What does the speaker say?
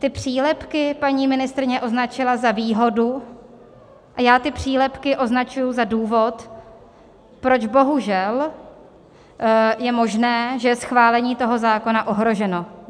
Ty přílepky paní ministryně označila za výhodu a já ty přílepky označuji za důvod, proč bohužel je možné, že je schválení toho zákona ohroženo.